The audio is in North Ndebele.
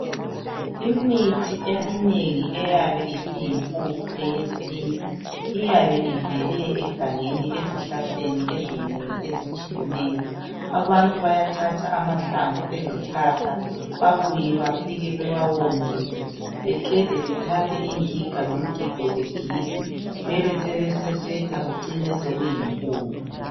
Imithi eminengi eyabe isiyimpuphu yesintu iyabe ivele egangeni ezihlahleni ezinengi ezitshiyeneyo. Abantu abayathatha amahlamvu ezihlahla babuye bafike bewawomise beqede bethathe ingiga lomgigo bagige bebesebesesetha kucine sokuyimpuphu.